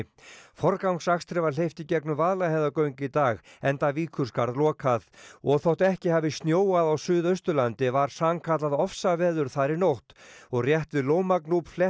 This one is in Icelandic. forgangsakstri var hleypt í gegnum Vaðlaheiðargöng í dag enda Víkurskarð lokað og þótt ekki hafi snjóað á Suðausturlandi var sannkallað ofsaveður þar í nótt og rétt við Lómagnúp